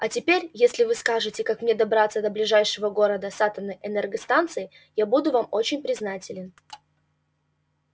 а теперь если вы скажете как мне добраться до ближайшего города с атомной энергостанцией я буду вам очень признателен